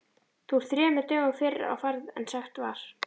Þú ert þremur dögum fyrr á ferð en sagt var.